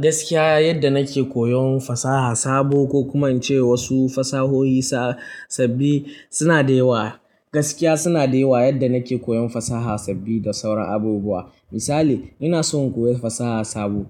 Gaskiya, yadda nake koyon fasaha sabo ko kuma in ce wasu fasahohi sabbi suna da yawa. Gaskiya suna da yawa. Yadda nake koyon fasaha sabbi da sauran abubuwa. Misali, ina so in koyi fasaha sabo.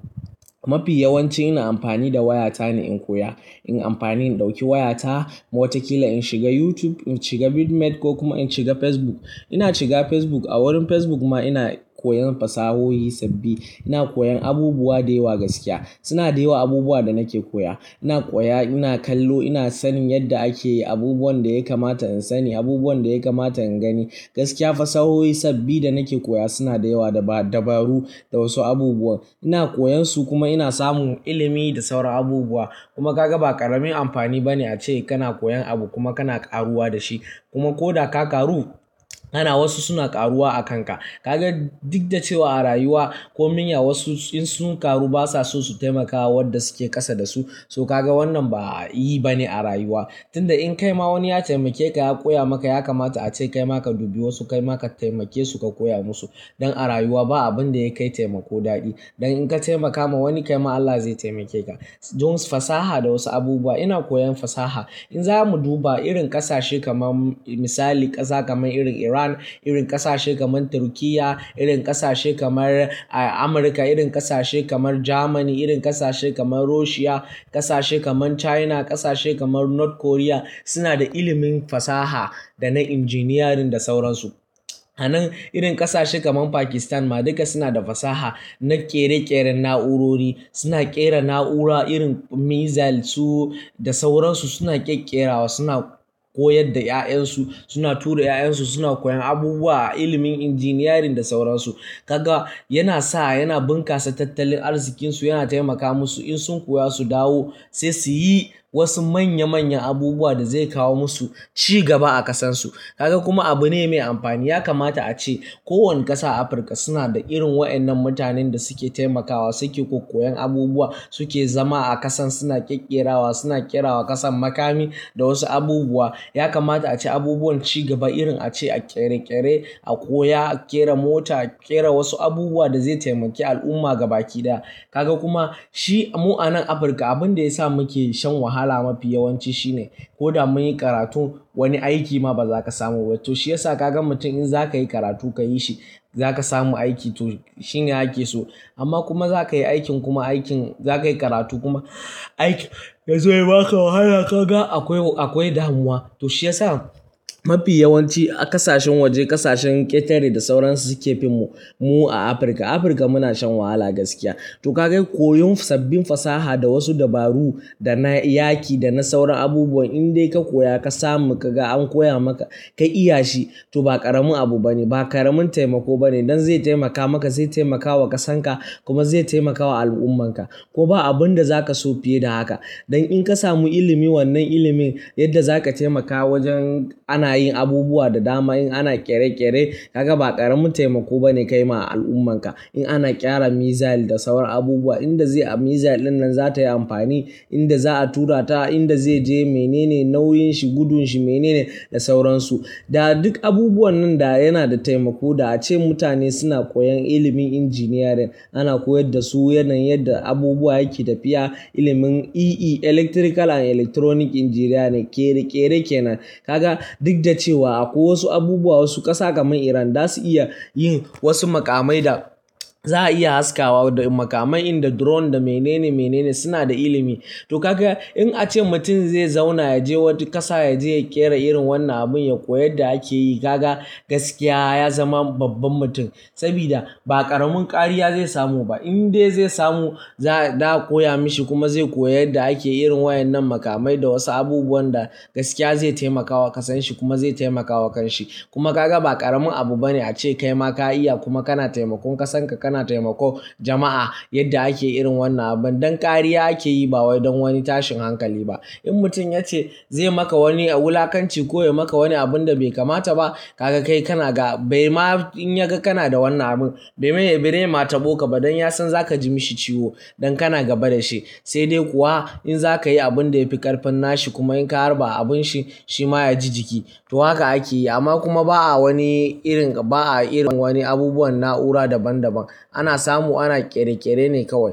Mafi yawanci ina amfani da wayata ne in koya. Ina amfani in ɗauki wayata, wata kila in shiga YouTube, in shiga Bitnet ko kuma in shiga Facebook. Ina shiga Facebook. A wurin Facebook ma ina koyan fasahohi sabbi. Ina koyan abubuwa da yawa. Gaskiya suna da yawa abubuwan da nake koya. Ina koya, ina kallo, ina sanin yadda ake yi, abubuwan da ya kamata in sani, abubuwan da ya kamata in gani. Gaskiya, fasahohi sababbi da nake koya suna da yawa, da dabaru da wasu abubuwa. Ina koyan su kuma ina samun ilimi da sauran abubuwa. Kuma ka ga ba ƙaramin amfani ba ne ace kana koyan abu kuma kana karuwa da shi. Kuma ko da ka ƙaru, ana wasu suna ƙaruwa a kanka. Ka ga duk da cewa a rayuwa komin ya wasu in sun ƙaru basa so su taimaka wa wanda suke ƙasa da su. To ka ga wannan ba yi bane a rayuwa. Tun da in kai ma wani ya taimake ka, ya koya maka, ya kamata ace kai ma ka dubi wasu, kai ma ka taimake su ka koya musu. Don a rayuwa ba abin da ya kai taimako daɗi. Don in ka taimaka ma wani kai ma Allah zai taimake ka. Don fasaha da wasu abubuwa, ina koyan fasaha. In zamu duba irin ƙasashe kamar misali ƙasa kamar irin Iran, irin ƙasashe kamar Turkiyya, irin ƙasashe kamar Amurka, irin ƙasashe kamar Jamani, irin ƙasashe kamar Rushiya, ƙasashe kamar China, ƙasashe kamar North Korea, suna da ilimin fasaha da na injiniyarin da sauran su. A nan irin ƙasashe kamar Pakistan ma duka suna da fasaha na ƙere-ƙeren na'urori. Suna ƙera na'ura irin Missile su da sauran su. Suna ƙeƙera wa, suna koyar da 'ya'yan su, suna tura 'ya'yan su, suna koyan abubuwa, ilimin injiniyarin da sauran su. Ka ga yana sa, yana bunkasa tattalin arzikinsu, yana taimaka musu. In sun koya su dawo sai su yi wasu manya manyan abubuwa da zai kawo musu cigaba a ƙasarsu. Ka ga kuma abu ne mai amfani. Ya kamata ace kowane ƙasa Afirka suna da irin waɗannan mutanen da suke taimakawa, suke ƙoƙoyen abubuwa, suke zama a ƙasan, suna ƙeƙera wa, suna ƙera wa ƙasan makami da wasu abubuwa. Ya kamata ace abubuwan cigaba irin ace a ƙere-ƙere, a koya, a ƙera mota, a ƙera wasu abubuwa da zai taimake al'umma gaba ki ɗaya. Ka ga kuma shi mu'anan Afirka abin da ya sa muke shan wahala mafi yawanci shine ko da mun yi karatu wani aiki ma baza ka samu ba. To shi ya sa kaga mutum in za ka yi karatu ka yi shi, za ka samu aiki to shine ake so. Amma kuma za ka yi aikin kuma aikin za ka yi karatu kuma aiki zai ba ka wahala. Ka ga akwai, akwai damuwa. To shi ya sa mafi yawanci a ƙasashen waje, ƙasashen ƙetare da sauran su suke fim mu a Afirka. Afirka muna shan wahala gaskiya. To kaga koyon sabbin fasaha da wasu dabaru da na yaƙi da na sauran abubuwan in dai ka koya ka samu ka ga an koya maka ka iya shi to ba ƙaramin abu bane, ba ƙaramin taimako bane. Don zai taimaka maka, zai taimaka wa ƙasarka kuma zai taimaka wa al'ummarka. Ko ba abin da za ka so fiye da haka. Don in ka samu ilimi wannan ilimin yadda za ka taimaka wajen ana yin abubuwa da dama in ana ƙere-ƙere ka ga ba ƙaramin taimako bane kai ma al'ummarka. In ana ƙera missile da sauran abubuwa, inda zai Missile dinnan za ta yi amfani, inda za a turata, inda zai je, menene nauyin shi, gudun shi menene da sauran su. Da duk abubuwan nan da yana da taimako da ace mutane suna koyan ilimin injiniyarin. Ana koyar da su yanayin yadda abubuwa yake tafiya. Ilimin EE, Electrical and Electronic Engineering ne ƙere-ƙere kenan. Ka ga duk da cewa akwai wasu abubuwa wasu ƙasa kamar Iran zasu iya yin wasu maƙamai da za a iya haskawa da makamai, inda drone da menene menene suna da ilimi. To ka ga in ace mutum zai zauna ya je wata ƙasa ya je ya ƙera irin wannan abin ya koyi yadda ake yi ka ga gaskiya ya zama babban mutum. Saboda ba ƙaramin ƙarya zai samu ba. In dai zai samu za da a koya mashi kuma zai koyi yadda ake yin waɗannan makamai da wasu abubuwan da gaskiya zai taimaka wa ƙasanshi kuma zai taimaka wa kanshi. Kuma ka ga ba ƙaramin abu bane ace kai ma ka iya kuma kana taimakon ƙasarka, kana taimakon jama'a yadda ake yin wannan abin. Don ƙarya ake yi ba wai don wani tashin hankali ba. In mutum ya ce zai maka wani a wulakanci, ko ya maka wani abun da bai kamata ba ka ga kai kana ga bai ma in ya ga kana da wannan abin bai mai, bai ma taɓo ka ba don ya san za ka ji mishi ciwo don kana gaba da shi. Sai dai kuwa in za ka yi abin da ya fi ƙarfin nashi kuma in ka harba abin shi, shi ma ya ji jiki. To haka ake yi amma kuma ba a wani irin, ba a irin wani abubuwan na'ura daban daban. Ana samu ana ƙere-ƙere ne kawai.